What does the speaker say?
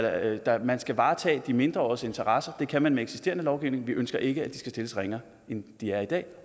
at man skal varetage de mindreåriges interesser det kan man med eksisterende lovgivning vi ønsker ikke at de skal stilles ringere end de er i dag